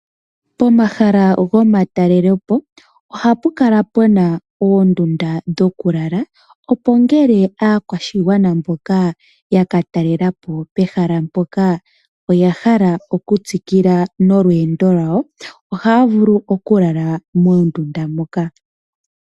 Pomahala gomatalelepo ohapu kala puna oondundu dhokulala opo ngele aakwashigwana mboka ya talelepo pehala mpoka oya hala okutsikila nolweendo lwawo ohaya vulu okulala moondunda moka.